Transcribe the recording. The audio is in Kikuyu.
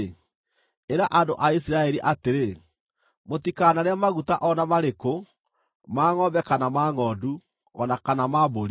“Ĩra andũ a Isiraeli atĩrĩ, ‘Mũtikanarĩe maguta o na marĩkũ, ma ngʼombe kana ma ngʼondu, o na kana ma mbũri.